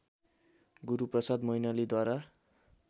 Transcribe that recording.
Guruprasad मैनालीद्वारा